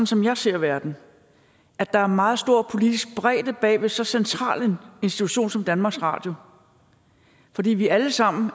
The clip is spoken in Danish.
som jeg ser verden at der er meget stor politisk bredde bag ved så central en institution som danmarks radio fordi vi alle sammen